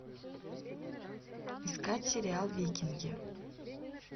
искать сериал викинги